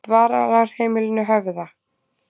Dvalarheimilinu Höfða